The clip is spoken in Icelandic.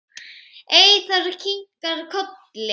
Eyþór kinkar kolli.